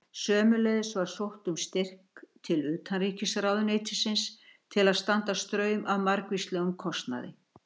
Sömuleiðis var sótt um styrk til utanríkisráðuneytisins til að standa straum af margvíslegum kostnaði.